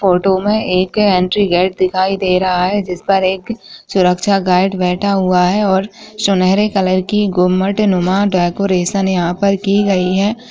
Photo में एक entry gate दिखाई दे रहा है जिस पर एक सुरक्षा गार्ड बैठा हुआ है और सुनहरे कलर की गुमडनुमा डेकोरेशन यहाँ पर की गई हैं।